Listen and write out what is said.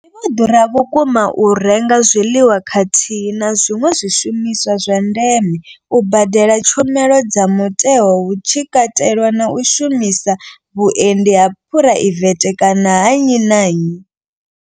Zwi vho ḓura vhukuma u renga zwiḽiwa khathihi na zwiṅwe zwishumiswa zwa ndeme, u badela tshumelo dza mutheo hu tshi katelwa na u shumisa vhuendi ha phuraivethe kana ha nnyi na nnyi.